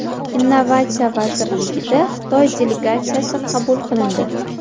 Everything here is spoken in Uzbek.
Innovatsiya vazirligida Xitoy delegatsiyasi qabul qilindi.